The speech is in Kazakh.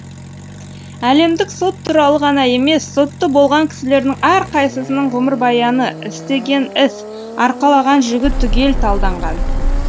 әлемдік сот туралы ғана емес сотты болған кісілердің әрқайсының ғұмырбаяны істеген іс арқалаған жүгі түгел талданған